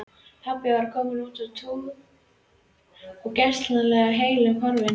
Pabbi var kominn á túr og gersamlega heillum horfinn.